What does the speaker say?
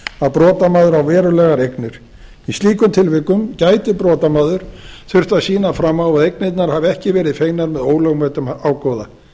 að brotamaður á verulegar eignir í slíkum tilvikum gæti brotamaður þurft að sýna fram á að eignirnar hafi ekki verið fengnar með ólögmætum ágóða